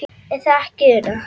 Er það ekki Una?